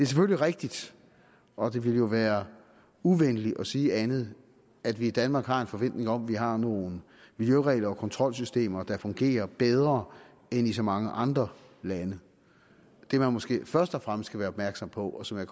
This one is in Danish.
selvfølgelig rigtigt og det ville jo være uvenligt at sige andet at vi i danmark har en forventning om at vi har nogle miljøregler og kontrolsystemer der fungerer bedre end i så mange andre lande det man måske først og fremmest skal være opmærksom på og som jeg